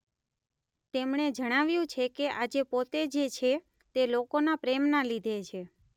તેમણે જણાવ્યું છે કે આજે પોતે જે છે તે લોકોના પ્રેમના લીધે છે.